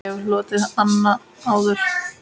Ég hef hlotið hana áður.